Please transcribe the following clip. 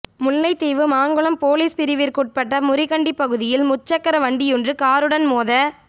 Mullaitivu Mankulam police பிரிவிற்குட்பட்ட முறிகண்டி பகுதியில் முச்சக்கர வண்டியொன்று காருடன் மோத